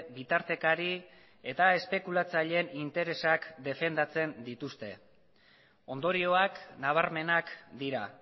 bitartekari eta espekulatzaileen interesak defendatzen dituzte ondorioak nabarmenak dira